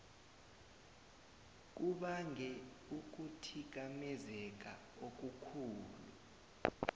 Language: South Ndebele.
kubange ukuthikamezeka okukhulu